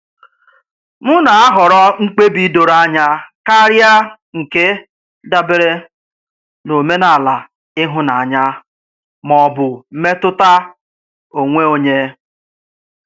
M na-ahọrọ mkpebi doro anya karịa nke dabere n'omenala ihunanya ma ọ bụ mmetụta onwe onye.